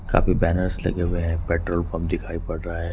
काफी बैनर्स लगे हुए हैं पेट्रोल पंप दिखाई पड़ रहा है।